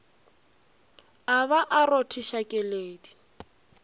a ba a rothiša keledi